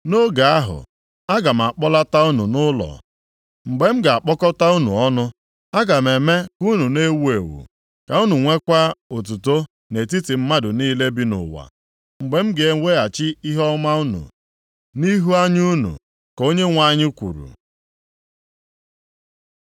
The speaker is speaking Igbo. Nʼoge ahụ, aga m akpọlata unu nʼụlọ; mgbe m ga-akpọkọta unu ọnụ. Aga m eme ka unu na-ewu ewu ka unu nwekwaa otuto nʼetiti mmadụ niile bi nʼụwa, mgbe m ga-eweghachi ihe ọma unu nʼihu anya unu.” Ka Onyenwe anyị kwuru.